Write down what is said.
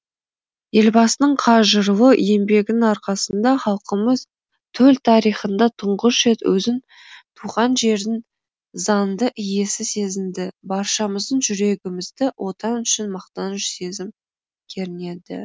елбасының қажырлы еңбегінің арқасында халқымыз төл тарихында тұңғыш рет өзін туған жердің заңды иесі сезінді баршамыздың жүрегімізді отан үшін мақтаныш сезім кернеді